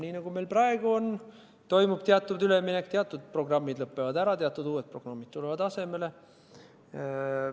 Nii nagu praegugi, toimub siis teatud üleminek – teatud programmid lõppevad ära, teatud uued programmid tulevad asemele.